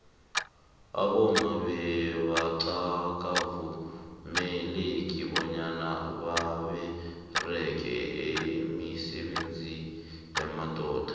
abomama bebanqakavumeleki banyana babereqe imisebenziyabobaba